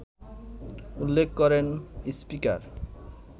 উল্লেখ করেন স্পিকার